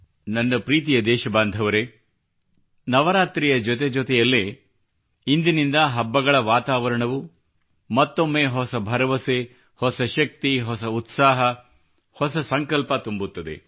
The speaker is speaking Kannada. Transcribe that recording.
ನನ್ನ ಪ್ರೀತಿಯ ದೇಶಬಾಂಧವರೇ ನವರಾತ್ರಿಯ ಜೊತೆಜೊತೆಯಲ್ಲೇ ಇಂದಿನಿಂದ ಹಬ್ಬಗಳ ವಾತಾವರಣವು ಮತ್ತೊಮ್ಮೆ ಹೊಸ ಭರವಸೆ ಹೊಸ ಶಕ್ತಿ ಹೊಸ ಉತ್ಸಾಹ ಹೊಸ ಸಂಕಲ್ಪ ತುಂಬುತ್ತದೆ